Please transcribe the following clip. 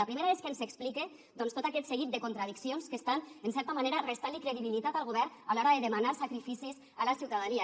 la primera és que ens explique doncs tot aquest seguit de contradiccions que estan en certa manera restant credibilitat al govern a l’hora de demanar sacrificis a la ciutadania